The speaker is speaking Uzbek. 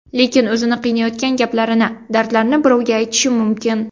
Lekin o‘zini qiynayotgan gaplarini, dardlarini birovga aytishi mumkin.